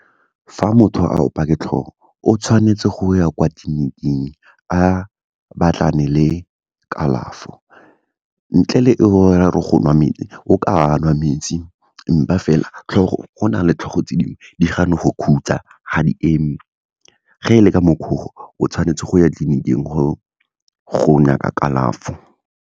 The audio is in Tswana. Fa motho a opiwa ke tlhogo, o tshwanetse go ya kwa tleliniking, a batlane le kalafo. Ntle le eo, go ra gore go nwa metsi o ka anwa metsi empa fela tlhogo, go na le tlhogo tse dingwe di gana go khutsa, ga di eme, ge e le ka mokg'o, o tshwanetse go ya tleliniking, go nyaka kalafo.